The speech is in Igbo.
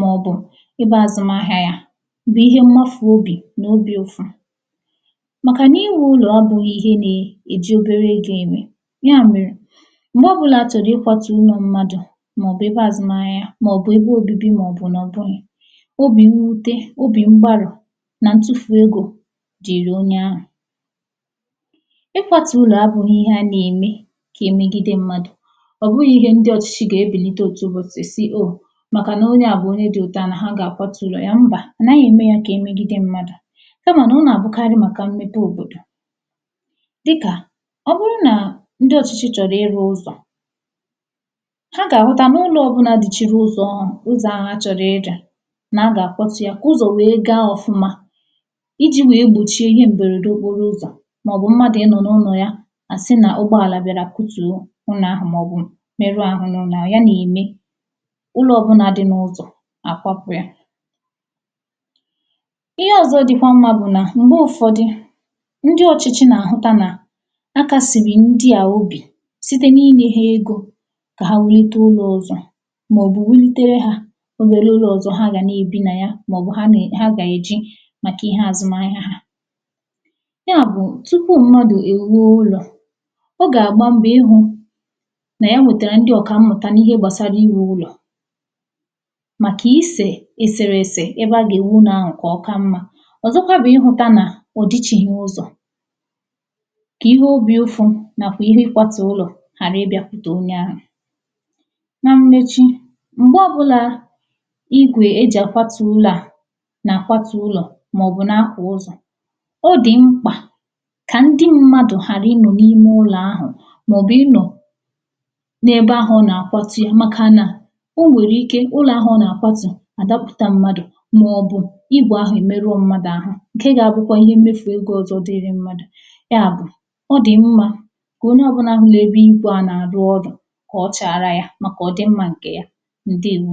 maọ̀bụ̀ ebe azụma ahịà yà bụ ihe mmafù obì n’obì ụfụ̀ makà na-iwu ụlọ̀ abụghị̀ ihe nee e ji obere egō emè ya mere m̄gbe ọ bụlà achọrọ̀ ikwatù ụlọ̀ mmadụ̀ maọ̀bụ̀ ebe azụma ahịà maọ̀bụ̀ ebe obibi maọ̀bụ̀ na ọbụrụ̀ obi nnwute, obi m̄gbarì na ntufu egō dịrị̀ onye ahụ̀ ikwatù ụlọ̀ abụghị̀ ihe a na-eme ka emegide mmadụ̀ ọ bụghị̀ ihe ndị̀ ọchịchị̀ ga-ebilite otù ụbọchị̀ sị̀ o makà na onye à bụ̀ onye dị otù à na ha ga-akwatù ụlọ̀ yà, mba a naghị̀ eme ya ka emegide mmadụ̀ kama na ọ na-abụkarị̀ mmepe òbodò dịkà ọ bụrụ̀ naa ndị ọchịchị̀ chọrọ̀ ịrụ̀ ụzọ̀ ha ga-ahụtà n’ụlọ̀ ọbụlà dichiri ụzọ̀, ụzọ̀ ahụ achọrọ ịdà na-aga akwatù ya ka ụzọ̀ wee gaa ọfụmà iji wee gbochie ihe mberede okporo ụzọ̀ maọ̀bụ̀ mmadụ̀ ị nọ̀ n’ụnọ̀ yà a sị na ụgbọ alà bịarà kutuò ụnọ ahụ̀ maọ̀bụ̀ meruo ahụ̀ n’ụnọ̀ ya na-eme ụlọ̀ ọbụnà dị n’ụzọ̀ akwapu yà ihe ọzọ̀ dịkwà mma bụ na m̄gbe ụfọdụ̀ ndị ọchịchị̀ na-ahụkwà na a kasili ndị à obì sitē na-enye ha egō ka ha wulite ụlọ̀ ọzọ̀ maọ̀bụ̀ wulite ha uwelele ọzọ̀ ha ga na-ebì na yà maọ̀bụ̀ ha nee, ha ga-eji makà ihe azụma ahịà ha ya bụ̀ tupù mmadụ̀ ewuo ụlọ̀ ọ ga-agba mbọ̀ ịhụ na ya wetarà ndị ọkammụtà n’ihe gbasarà iwu ụlọ̀ makà isē eserese igbaliwu n’ahụ ka ọ ka mma ọzọkwà bụ̀ īhūtà nà ọ dichighi ụzọ̀ ka ihe obi ụfụ nakwà ihe ikwatù ụlọ̀ gharị̀ ịbịakwute onye ahụ na mmechì mgbe ọ bụlà à igwe e ji akwatu ụlọ à na-akwatù ụlọ̀ maọ̀bụ na-akwụ̀ ụzọ̀ ọ dị m̄kpà ka ndị̀ mmadụ̀ hara ịnọ̀ n’ime ụlọ̀ ahụ maọ̀bụ̀ ịnọ̀ n’ebe ahụ ọ na-akwatù ya makà na o nwere ike ụlọ̀ ahụ ọ na-akwatù adaputà mmadụ̀ maọ̀bụ̀ igwe ahụ emeruo mmadụ̀ ahụ̀ nke ga-abụkwà imefù egō ọzọ̀ dịrị mmadụ̀ ya bụ̀ ọ dị mma ka onye ọbụlà n’ebu igwe a n’arụ ọrụ̀ ka ọ chaara yà makà ọ dị mma nke yà. Ndewo!